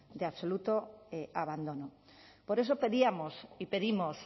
de absoluto abandono por eso pedíamos y pedimos